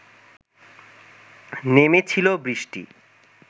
নেমেছিল বৃষ্টি